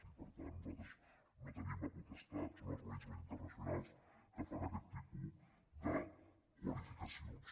i per tant nosaltres no en tenim la potestat són organismes internacionals que fan aquest tipus de qualificacions